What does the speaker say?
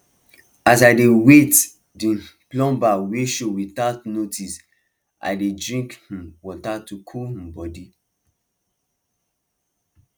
as i dey wait the um plumber wey show without notice i dey drink um water to cool um body